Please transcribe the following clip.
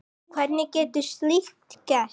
Hvernig getur slíkt gerst?